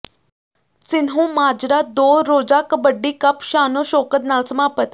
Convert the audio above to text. ਸਿੰਹੋਂਮਾਜਰਾ ਦੋ ਰੋਜ਼ਾ ਕਬੱਡੀ ਕੱਪ ਸ਼ਾਨੋ ਸ਼ੌਕਤ ਨਾਲ ਸਮਾਪਤ